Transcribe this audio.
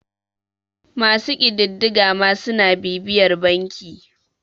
masu ƙididdiga ma suna bibiyar banki